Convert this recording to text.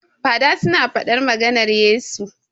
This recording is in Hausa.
Fada su na faɗar maganar Yesu